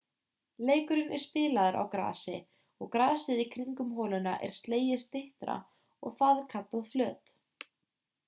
leikurinn er spilaður á grasi og grasið í kringum holuna er slegið styttra og það er kallað flöt